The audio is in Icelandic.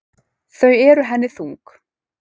Þau eru henni þung.